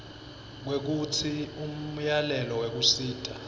kwekutsi umyalelo wekusisa